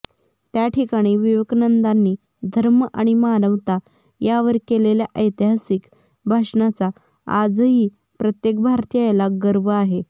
त्यांठिकाणी विवेकानंदानी धर्म आणि मानवता यावर केलेल्या ऐतिहासिक भाषणाचा आजही प्रत्येक भारतीयाला गर्व आहे